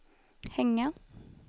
hänga